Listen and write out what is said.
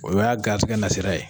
O y'a garisigɛ nasira ye.